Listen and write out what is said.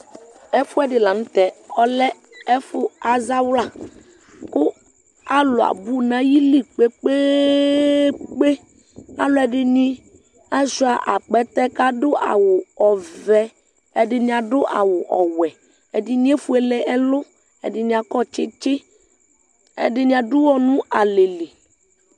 ɛfoɛdi lantɛ ɔlɛ ɛfo azawla kò alo abò n'ayili kpekpekpe aloɛdini asua akpɛtɛ k'ado awu ɔvɛ ɛdini ado awu ɔwɛ ɛdini efuele ɛlu ɛdini akɔ tsitsi ɛdini ado uwɔ no alɛ li